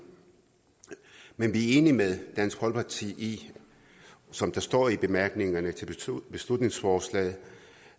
men vi er enige med dansk folkeparti i som der står i bemærkningerne til beslutningsforslaget